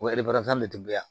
O de tun bɛ yan